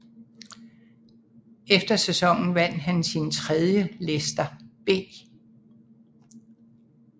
Efter sæsonen vandt han sin tredje Lester B